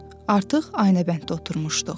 Artıq aynəbənddə oturmuşduq.